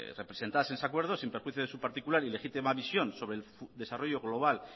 representadas en ese acuerdo sin perjuicio de su particular y legítima visión sobre desarrollo global